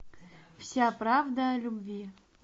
вся правда о любви